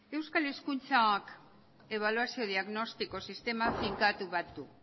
euskal hezkuntzak ebaluazio diagnostiko sistema finkatu bat du